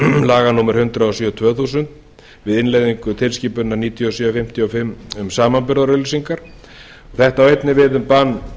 laga númer hundrað og sjö tvö þúsund við innleiðingu tilskipunar níutíu og sjö fimmtíu og fimm um samanburðarauglýsingar þetta á einnig við um bann